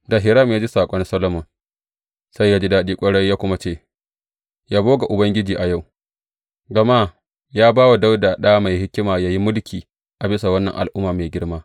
Da Hiram ya ji saƙon Solomon, sai ya ji daɗi ƙwarai, ya kuma ce, Yabo ga Ubangiji a yau, gama ya ba wa Dawuda ɗa mai hikima yă yi mulki a bisa wannan al’umma mai girma.